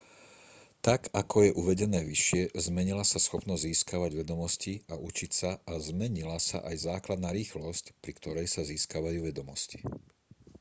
tak ako je uvedené vyššie zmenila sa schopnosť získavať vedomosti a učiť sa a zmenila sa aj základná rýchlosť pri ktorej sa získavajú vedomosti